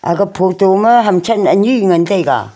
aga photo ma hamthan ani ngan taiga.